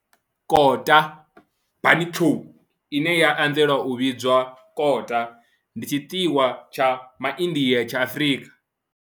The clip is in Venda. Kota, bunny chow, ine ya anzela u vhidzwa kota, ndi tshiḽiwa tsha MaIndia tsha Afrika.